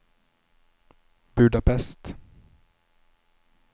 Budapest